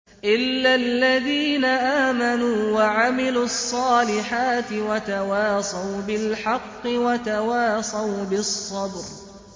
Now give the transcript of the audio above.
إِلَّا الَّذِينَ آمَنُوا وَعَمِلُوا الصَّالِحَاتِ وَتَوَاصَوْا بِالْحَقِّ وَتَوَاصَوْا بِالصَّبْرِ